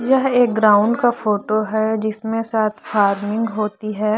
यह एक ग्राउंड का फोटो है जिसमे शायद फाइटिंग होती है।